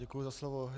Děkuji za slovo.